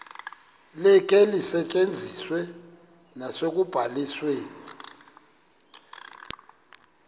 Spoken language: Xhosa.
likhe lisetyenziswe nasekubalisweni